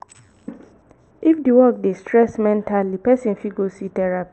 if di work dey stress mentally person fit go see therapist